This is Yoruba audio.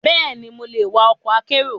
Bẹ́ẹ̀ni, mo lè wa ọkọ̀ akérò.